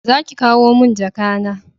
Za ki kawo mun jaka na!